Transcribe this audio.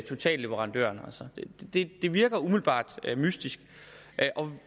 totalleverandøren altså det virker umiddelbart mystisk